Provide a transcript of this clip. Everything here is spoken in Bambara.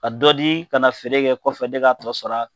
Ka dɔ di ka na feere kɛ kɔfɛ nin k'a tɔ sara